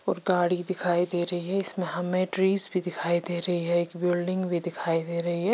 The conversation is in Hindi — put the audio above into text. और गाड़ी दिखाई दे रही है इसमें हमे ट्रीज भी दिखाई दे रही है एक बिल्डिंग भी दिखाई दे रही है।